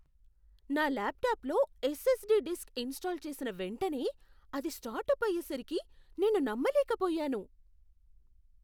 నా ల్యాప్టాప్లో SSD disk install చేసిన వెంటనే అది స్టార్ట్అప్ అయేసరికి నేను నమ్మలేకపోయాను.